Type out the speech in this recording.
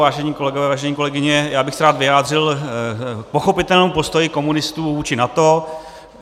Vážení kolegové, vážené kolegyně, já bych se rád vyjádřil k pochopitelnému postoji komunistů vůči NATO.